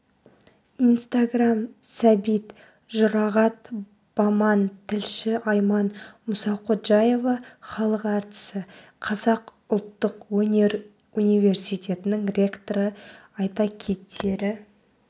инстаграм сәбит жұрағат баман тілші айман мұсақожаева халық әртісі қазақ ұлттық өнер университетінің ректоры айта кетері